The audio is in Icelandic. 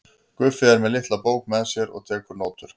Guffi er með litla bók með sér og tekur nótur.